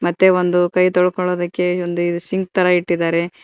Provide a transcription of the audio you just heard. ಮತ್ತೆ ಒಂದು ಕೈ ತೊಳ್ಕೊಳ್ಳೋದಿಕ್ಕೆ ಒಂದು ಇದ್ ಸಿಂಕ್ ತರ ಇಟ್ಟಿದಾರೆ.